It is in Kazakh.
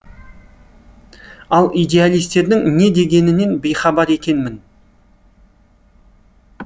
ал идеалистердің не дегенінен бейхабар екенмін